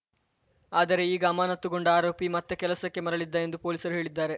ಆದರೆ ಈಗ ಅಮಾನತುಗೊಂಡ ಆರೋಪಿ ಮತ್ತೆ ಕೆಲಸಕ್ಕೆ ಮರಳಿದ್ದ ಎಂದು ಪೊಲೀಸರು ಹೇಳಿದ್ದಾರೆ